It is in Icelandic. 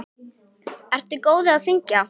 Ertu góður í að syngja?